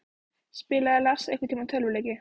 Spilaði Lars einhverntímann tölvuleiki?